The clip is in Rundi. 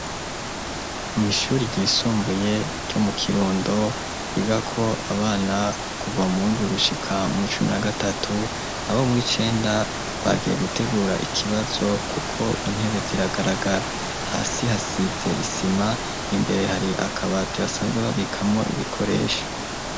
Mw’ishuri ryisumbuye, ryo mu kirundo, ryigako abana, kuva mu w’indwi, gushika mu w'icumi na gatatu; abo mu w’icenda, bagiye gutegura, ikibazo, kuko intebe, ziragaragara; hasi, hasize isima, imbere hari akabati, basanzwe babikamwo, ibikoresho.